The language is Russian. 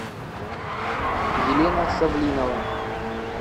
елена савлинова